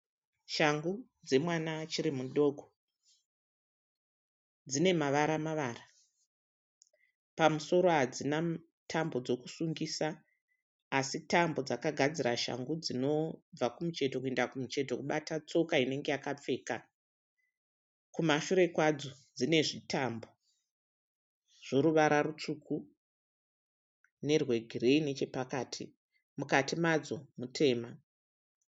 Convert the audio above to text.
Shangu dzemwana achiri mudoko, dzinemavara mavara pamusoro hadzina tambo yekusungisa asi tambo dzakagadzira shangu dzinobva kumucheto kuenda kumucheto kubata tsoka inenge yakapfeka.